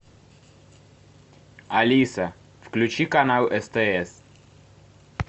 алиса включи канал стс